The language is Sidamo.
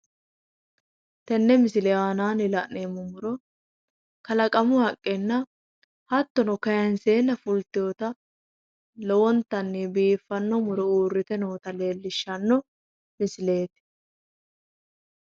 tenne misile aanaanni la'neemmo muro kalaqamu haqqenna hattono kayiinseenna fulteeta lowontanni biiffanno muro uurrite noota leellishshanno misileeti.